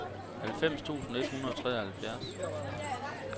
halvfems tusind et hundrede og treoghalvfjerds